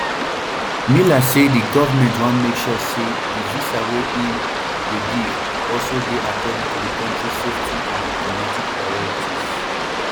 miller say di goment wan make sure say di visa wey e um dey give also dey according to di kontri safety and diplomatic priorities